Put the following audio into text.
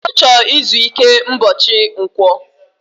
Ochor izu ike mbochi nkwo